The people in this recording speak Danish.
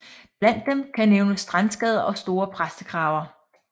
Blandt dem kan nævnes strandskader og store præstekraver